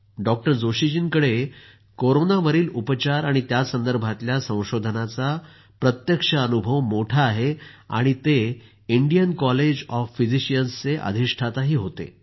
doctor Joshi जींकडे कोरोनावरील उपचार आणि त्यासंदर्भातल्या संशोधनाचा प्रत्यक्ष अनुभव मोठा आहे आणि ते इंडियन कॉलेज ऑफ फिजिशियन्सचे अधिष्ठाताही राहिले आहेत